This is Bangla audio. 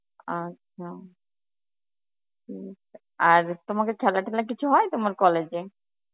আচ্ছা উম আর তোমাকে খেলা ঠেলা কিছু হয় তোমার college এ?